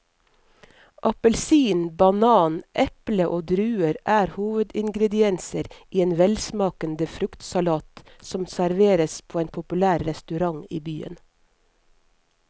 Appelsin, banan, eple og druer er hovedingredienser i en velsmakende fruktsalat som serveres på en populær restaurant i byen.